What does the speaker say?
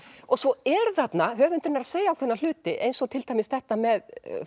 og svo er þarna höfundurinn er að segja ákveðna hluti eins og til dæmis þetta með